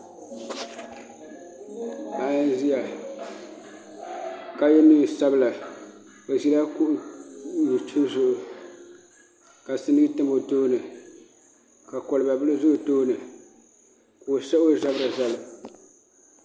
Paɣa n ʒiya ka yɛ neen sabila o ʒila kuɣu dozim zuɣu ka sinii tam o tooni ka kolba bili ʒɛ o tooni ka o sahi o zabiri zali